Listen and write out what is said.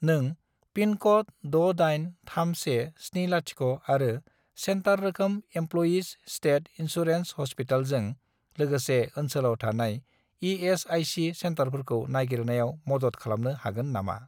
नों पिनक'ड 683170 आरो सेन्टार रोखोम इमप्ल'यिज स्टेट इन्सुरेन्स ह'स्पिटेलजों लोगोसे ओनसोलाव थानाय इ.एस.आइ.सि. सेन्टारफोरखौ नागिरनायाव मदद खालामनो हागोन नामा ?